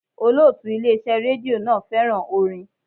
Olótùú Ilé iṣẹ́ rédíò náà fẹ́ràn orin.